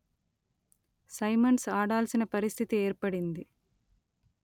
Symonds ఆడాల్సిన పరిస్థితి ఏర్పడింది